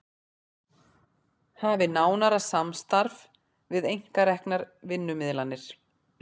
Hafi nánara samstarf við einkareknar vinnumiðlanir